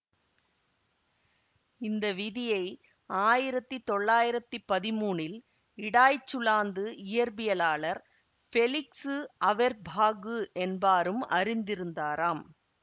இந்த விதியை ஆயிரத்தி தொள்ளாயிரத்தி பதிமூனில் இடாய்ச்சுலாந்து இயற்பியலாளர் பெலிக்ஃசு அவெர்பாஃகு என்பாரும் அறிந்திருந்தாராம்